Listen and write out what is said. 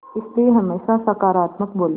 इसलिए हमेशा सकारात्मक बोलें